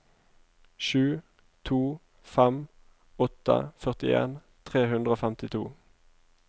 sju to fem åtte førtien tre hundre og femtito